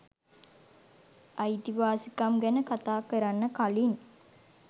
අයිතිවාසිකම් ගැන කතා කරන්න කලින්